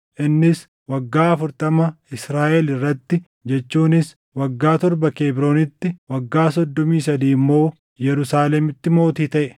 Innis waggaa afurtama Israaʼel irratti jechuunis waggaa torba Kebroonitti, waggaa soddomii sadii immoo Yerusaalemitti mootii taʼe.